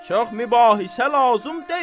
Çox mübahisə lazım deyil.